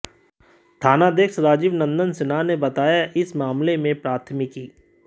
थानाध्यक्ष राजीव नंदन सिन्हा ने बताया कि इस मामले में प्राथमिकी